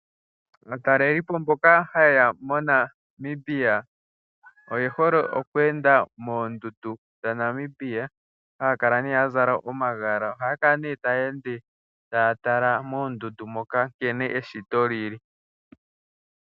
Aatalelipo mboka ha yeya moNamibia oye hole okweenda moondundu dhaNamibia ohaya kala nee ya zala omagala. Ohaya kala nee taya ende taya tala moondundu nkene eshito li li.